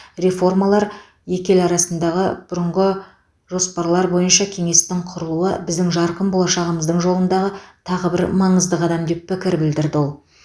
реформалар екі ел арасындағы бұрынғы жоспарлар бойынша кеңестің құрылуы біздің жарқын болашағымыздың жолындағы тағы бір маңызды қадам деп пікір білдірді ол